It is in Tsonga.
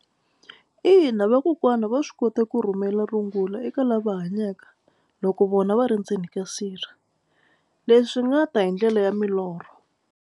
Ina vakokwani va swi kota ku rhumela rungula eka lava hanyaka loko vona va ri ndzeni ka sirha leswi nga ta hi ndlela ya milorho.